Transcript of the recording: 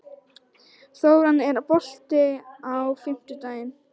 Þóranna, er bolti á fimmtudaginn?